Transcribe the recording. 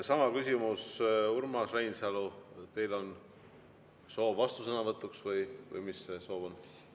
Sama küsimus: Urmas Reinsalu, teil on soov vastusõnavõtuks või mis see soov on?